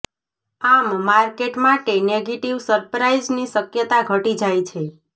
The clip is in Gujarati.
આમ માર્કેટ માટે નેગેટિવ સરપ્રાઈઝની શક્યતા ઘટી જાય છે